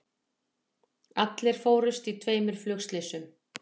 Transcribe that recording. Allir fórust í tveimur flugslysum